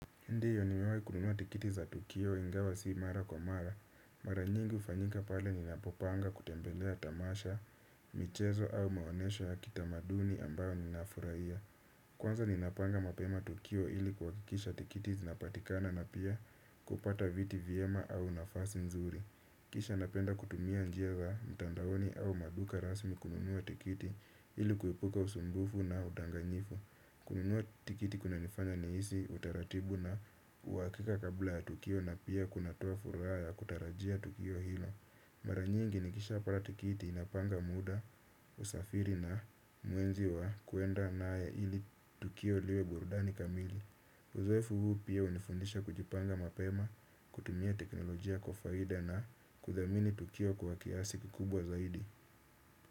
Ndiyo nimewai kununua tikiti za tukio ingawa sii mara kwa mara. Mara nyingi ufanyika pale ninapopanga kutembelea tamasha, michezo au maonesho ya kitamaduni ambayo ninafuraia. Kwanza ninapanga mapema tukio ili kuakikisha tikiti zinapatikana na pia kupata viti vyema au nafasi nzuri. Kisha napenda kutumia njia za mtandaoni au maduka rasmi kununua tikiti ili kuipuka usumbufu na udanganyifu. Kununua tikiti kuna nifanya niisi utaratibu na uakika kabla ya tukio na pia kuna toa furaa ya kutarajia tukio hilo. Mara nyingi nikishaa pata tikiti inapanga muda, usafiri na muenzi wa kuenda na ya ili tukio liwe burdani kamili. Uzoefu huu pia unifundisha kujipanga mapema, kutumia teknolojia kwa faida na kuthamini tukio kwa kiasi kukubwa zaidi.